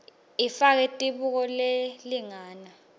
ifake tibuko telilanga